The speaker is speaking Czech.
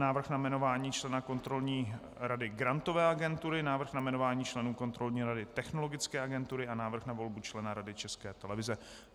Návrh na jmenování člena kontrolní rady Grantové agentury, Návrh na jmenování členů kontrolní rady Technologické agentury a Návrh na volbu člena Rady České televize.